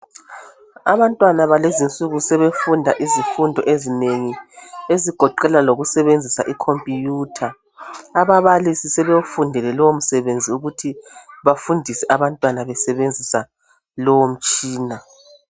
Abantwana bakulezinsuku sebefunda izifundo ezinengi ezigoqela lokusebenzisa ikhompiyutha. Ababalisi sebefundile lowo msebenzi ukuthi bafundise abantwana besebenzisa lowo mtshina.